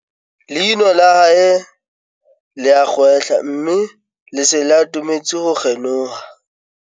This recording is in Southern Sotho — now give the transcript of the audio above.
leino la hae le a kgwehla mme le se le atametse ho kgenoha